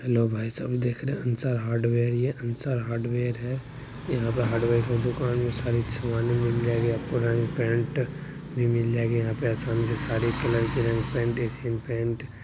hello भाईसहाब देख रहे है अंसार हार्डवेयर ये अंसार हार्डवेयर है यहाँ हार्डवेयर का दुकान में सारी सामने मिल जायेगी आपको रंग पेंट भी मिल जायेगी यहाँ पे सारे रंग कलर की पेंट एशियाई पेंट्स--